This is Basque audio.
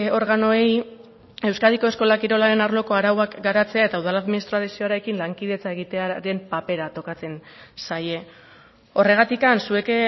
organoei euskadiko eskola kirolaren arloko arauak garatzea eta udal administrazioarekin lankidetza egitearen papera tokatzen zaie horregatik zuek